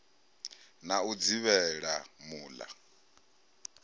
na u dzivhela mul a